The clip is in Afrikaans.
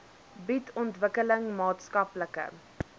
bied ontwikkeling maatskaplike